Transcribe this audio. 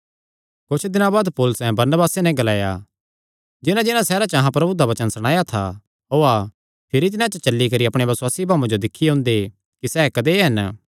कुच्छ दिनां बाद पौलुसैं बरनबासे नैं ग्लाया जिन्हांजिन्हां सैहरां च अहां प्रभु दा वचन सणाया था ओआ भिरी तिन्हां च चली करी अपणेयां बसुआसी भाऊआं जो दिक्खी ओंदे कि सैह़ कदेय हन